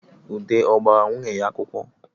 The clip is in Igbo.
Ude ọ gbara nwunye ya akwụkwọ